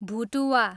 भुटुवा